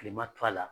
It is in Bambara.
Kilema to a la